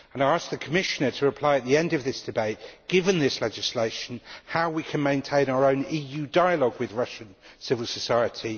I ask the Commissioner to answer at the end of this debate Given this legislation, how we can maintain our own EU dialogue with Russian civil society?